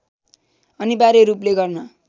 अनिवार्य रूपले गर्न